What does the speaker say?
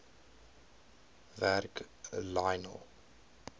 werk lionel